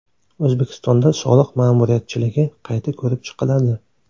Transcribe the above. O‘zbekistonda soliq ma’muriyatchiligi qayta ko‘rib chiqiladi.